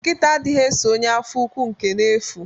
Nkita adighi eso ọnye afọ úkwù nke n'efu.